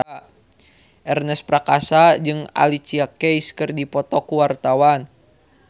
Ernest Prakasa jeung Alicia Keys keur dipoto ku wartawan